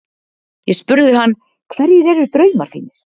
Ég spurði hann: Hverjir eru draumar þínir?